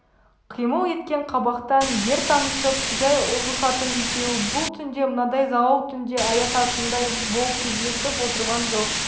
қимыл еткен қабақтан жер танысып жай ұғысатын екеуі бұл түнде мынадай зауал түнде аясатындай болып кездесіп отырған жоқ